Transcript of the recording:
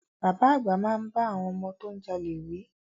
Bàbá àgbà máa bá àwọn ọmọ tó ń jalè wí.